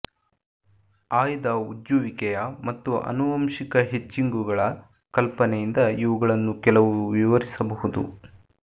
ಆಯ್ದ ಉಜ್ಜುವಿಕೆಯ ಮತ್ತು ಆನುವಂಶಿಕ ಹಿಚ್ಕಿಂಗ್ಗಳ ಕಲ್ಪನೆಯಿಂದ ಇವುಗಳನ್ನು ಕೆಲವು ವಿವರಿಸಬಹುದು